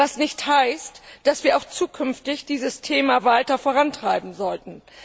Was nicht heißt, dass wir nicht auch zukünftig dieses Thema weiter vorantreiben sollten.